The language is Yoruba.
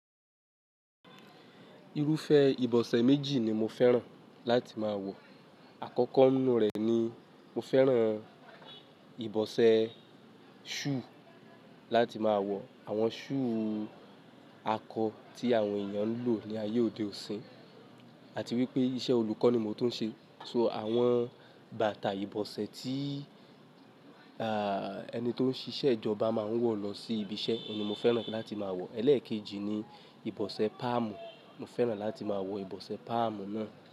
Irufẹ ìbọ̀sẹ̀ méjì ni mo fẹ́ràn láti máa wọ̀. Àkọ́kọ́ nínú rẹ̀ ni mo fẹ́ràn ìbọ̀sẹ̀ shoe láti máa wọ̀, àwọn shoe akọ tí àwọn èèyàn ń lò ní ayé òde ọ̀sín, àti wípé iṣẹ́ olùkọ́ ni mo tún n ṣe, so àwọn bàtà ìbọ̀sẹ̀ tí, à, ẹni tó ń ṣíṣe ìjọba máa ń wọ̀ lọ sí ibi iṣẹ́, ọ̀un ni mo fẹ́ràn láti máa wọ̀. Ẹ̀lẹ́ẹ̀kejì ni ìbọ̀sẹ̀ páàmù, mo fẹ́ràn láti máa wọ ìbọ̀sẹ̀ páàmù náà.